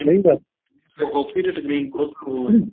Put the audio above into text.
ਨਹੀਂ ਤਾਂ hockey ਦੇ screen ਬਹੁਤ slow